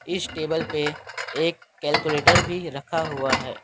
इस टेबल पे एक कैलकुलेटर भी रखा हुआ है।